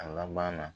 A laban na